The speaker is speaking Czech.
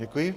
Děkuji.